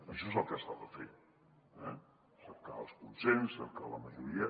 això és el que s’ha de fer eh cercar el consens cercar la majo·ria